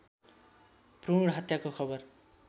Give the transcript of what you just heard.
भ्रूण हत्याको खबर